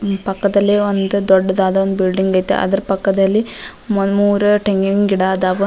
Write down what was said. ಪಕ್ಕದಲ್ಲಿ ಒಂದ್ ದೊಡ್ಡದಾದ ಒಂದು ಬಿಲ್ಡಿಂಗ್ ಐತೆ ಅದರ್ ಪಕ್ಕದಲ್ಲಿ ಒಂದ್ ಮೂರು ಟೆಂಗಿನ್ ಗಿಡ ಆದಾವ .